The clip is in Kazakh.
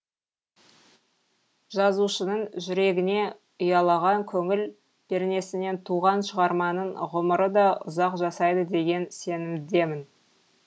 жазушының жүрегіне ұялаған көңіл пернесінен туған шығарманың ғұмыры да ұзақ жасайды деген сенімдемін